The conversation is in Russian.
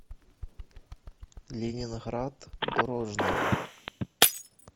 ленинград дорожная